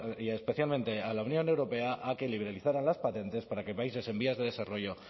y especialmente a la unión europea a que liberalizara las patentes para que países en vías de desarrollo